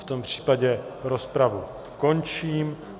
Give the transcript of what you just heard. V tom případě rozpravu končím.